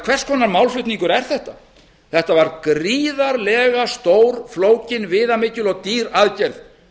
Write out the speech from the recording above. hvers konar málflutningur er þetta þetta var gríðarlega stór flókin viðamikil og dýr aðgerð